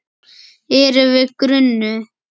Erum við grunuð?